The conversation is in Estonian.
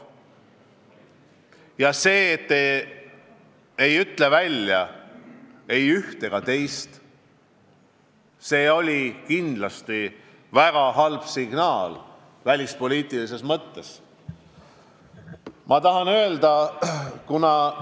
Ja see, et te ei öelnud välja ei üht ega teist seisukohta, oli välispoliitilises mõttes kindlasti väga halb signaal.